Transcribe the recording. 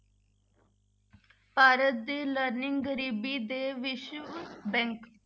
ਭਾਰਤ ਦੀ learning ਗਰੀਬੀ ਦੇ ਵਿਸ਼ਵ bank